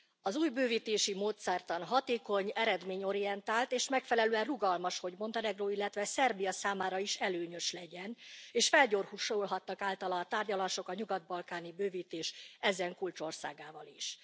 Az új bővítési módszertan hatékony, eredményorientált és megfelelően rugalmas, hogy Montenegró, illetve Szerbia számára is előnyös legyen, és felgyorsulhattak általa a tárgyalások a nyugat balkáni bővítés ezen kulcsországával is.